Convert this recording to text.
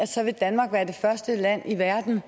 så vil danmark være det første land i verden